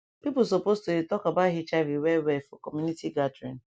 people supposed to dey talk about hiv well well for community gathering